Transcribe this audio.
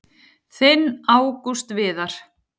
Þinn Ágúst Viðar.